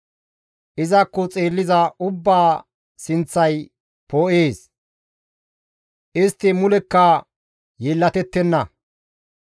Izakko xeelliza ubbaa sinththay poo7ees; istti mulekka yeellatettenna.